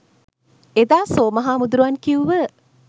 එදා සෝම හාමුදුරුවන් කිව්ව